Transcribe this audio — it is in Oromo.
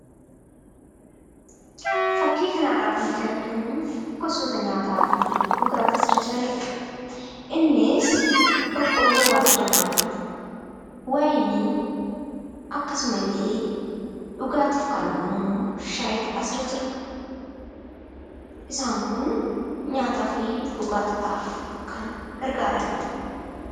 Fakkii kanarraa kan nuti arginu gosoota nyaataa fi dhugaatii asirra jiranidha. Innis boqqolloo waaddamaa jiru, wayinii, akkasuma illee dhugaatiif kan oolu immoo shayiitu asirra jira. Isaan kun nyaataa fi dhugaatiidhaaf kan gargaaranidha.